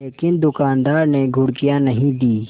लेकिन दुकानदार ने घुड़कियाँ नहीं दीं